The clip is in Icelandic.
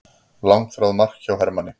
Langþráð mark hjá Hermanni